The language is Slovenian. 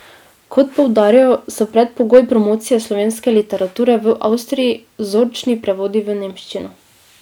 Kot poudarjajo, so predpogoj promocije slovenske literature v Avstriji vzorčni prevodi v nemščino.